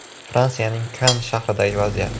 Fransiyaning Kann shahridagi vaziyat.